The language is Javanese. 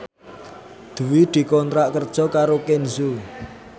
Dwi dikontrak kerja karo Kenzo